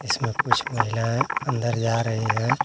इसमें कुछ महिलाएं अंदर जा रही हैं।